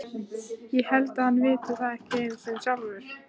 Ég held að hann viti það ekki einu sinni sjálfur.